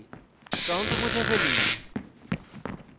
prompt মুছে ফেলি